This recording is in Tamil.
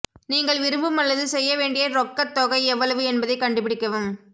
நீங்கள் விரும்பும் அல்லது செய்ய வேண்டிய ரொக்கத் தொகை எவ்வளவு என்பதைக் கண்டுபிடிக்கவும்